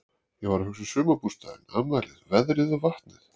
Ég var að hugsa um sumarbústaðinn, afmælið, veðrið og vatnið.